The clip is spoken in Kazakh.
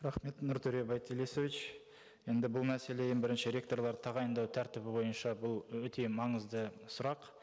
рахмет нұртөре байтилесович енді бұл мәселе ең бірінші ректорларды тағайындау тәртібі бойынша бұл өте маңызды сұрақ